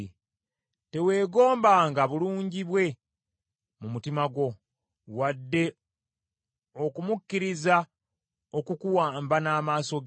Teweegombanga bulungi bwe mu mutima gwo, wadde okumukkiriza okukuwamba n’amaaso ge,